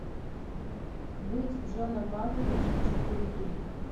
быть джоном малковичем четыре кей